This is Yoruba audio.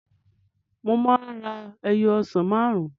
Mo máa ra ẹyọ ọsàn máàrún